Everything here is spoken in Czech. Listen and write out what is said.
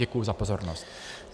Děkuji za pozornost.